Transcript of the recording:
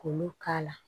K'olu k'a la